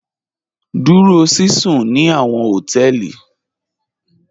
Dúró síṣún ní àwọn họtẹẹlì.